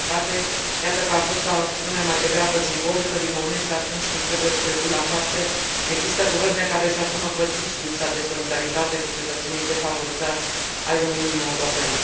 Din păcate, iată că a fost o acțiune mai degrabă simbolică, din moment ce atunci când trebuie trecut la fapte există guverne care își asumă fățiș lipsa de solidaritate cu cetățenii defavorizați ai Uniunii Europene.